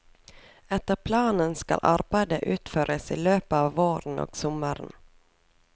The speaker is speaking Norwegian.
Etter planen skal arbeidet utføres i løpet av våren og sommeren.